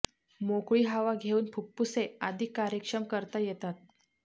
मोकळी हवा घेऊन फुप्फुसे अधिक कार्यक्षम करता येतात